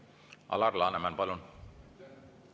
Alar Laneman, palun!